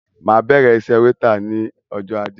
Máa bẹrẹ iṣẹ wétà ní ọjọ ajé